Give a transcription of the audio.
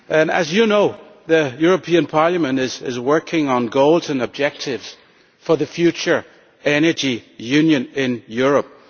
As you know, Mr Arias Cañete, Parliament is working on goals and objectives for the future energy union in Europe.